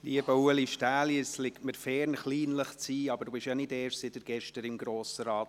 Lieber Ulrich Stähli, es liegt mir fern, kleinlich zu sein, aber Sie sind nicht erst seit gestern im Grossen Rat.